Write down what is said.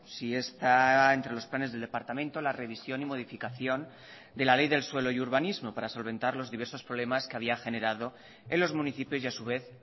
si está entre los planes del departamento la revisión y modificación de la ley del suelo y urbanismo para solventar los diversos problemas que había generado en los municipios y a su vez